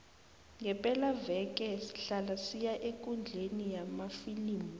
ngepelaveke sihlala siya ekundleni yamafilimu